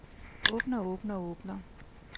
åbner åbner åbner